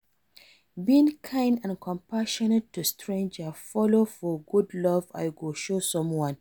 Being kind and compassionate to stranger follow for good love I go show someone.